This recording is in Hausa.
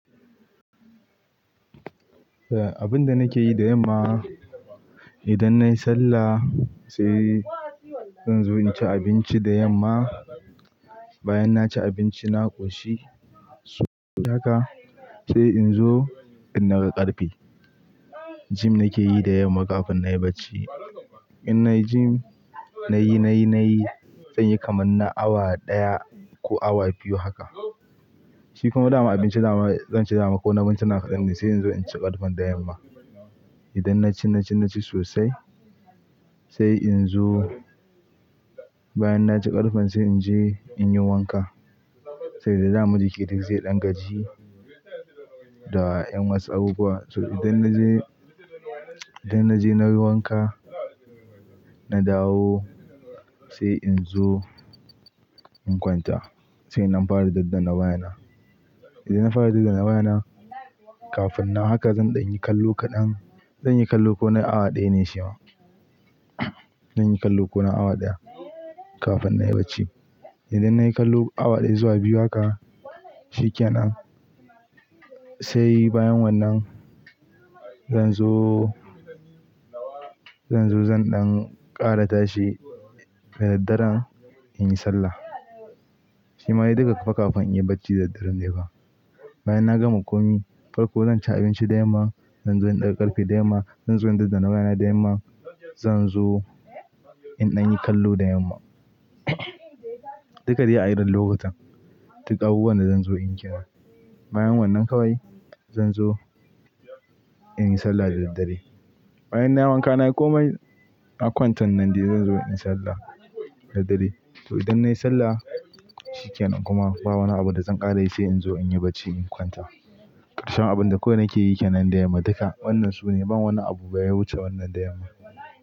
A abun da nake yi da yamma idan nayi sallah sai zan zo in ci abinci da yamma. Bayan naci abinci na ƙoshi saboda haka sai in zo in ɗaga ƙarfe. Gym nake yi da yamma kafin nayi bacci. In nayi gym, nayi nayi zan yi kamar na awa ɗaya ko awa biyu haka. Shi kuma dama abinci dama, zan ci dama ko na mintina kaɗan sai in zo in ci ƙarfen da yamma. Idan naci, naci, naci sosai sai in zo Bayan naci ƙarfen sai in je in yi wanka saboda daman jiki duk zai ɗan gaji Da ƴan wasu abub. So idan na je, idan na je na yi wanka, na dawo sai in zo in kwanta sai na fara daddana wayana. Idan na fara daddana wayana, kafin na haka zan ɗan yi kallo kaɗan. Zan yi kallo ko na awa ɗaya ne sai ba. Zan yi kallo ko na awa ɗaya kafin nayi bacci. Idan nayi kallo awa ɗaya zuwa biyu haka shikenan sai bayan wannan zan zo, zan zo zan ɗan ƙara tashi da daddare in yi sallah. Shi ma yi duka haka kafin in yi bacci da daddare ne ba. Bayan na gama komai, farko zan ci abinci da yamma, zan zo in ɗaga ƙarfe da yamma, zan zo in daddana wayana da yamma, zan zo in ɗan yi kallo da yamma. Duka dai yi a irin lokutan. Duk abubuwan da zan zo in kira. Bayan wannan kawai zan zo in yi sallah da daddare. Bayan nayi wanka nayi komai na kwanta nan dai zan zo in yi sallah da dare. To idan nayi sallah shikenan kuma ba wani abu da zan ƙara yi sai in zo in yi bacci in kwanta. Karshe abun da kawai nake yi kenan da yamma duka wannan su ne. Ban wani abu baya wuce wannan da yamma.